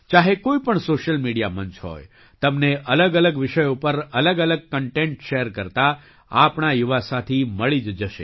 ચાહે કોઈ પણ સૉશિયલ મીડિયા મંચ હોય તમને અલગઅલગ વિષયો પર અલગઅલગ કન્ટેન્ટ શૅર કરતા આપણા યુવા સાથી મળી જ જશે